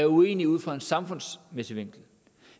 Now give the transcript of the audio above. uenig ud fra en samfundsmæssig vinkel